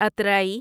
اترائی